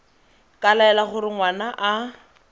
ka laela gore ngwana a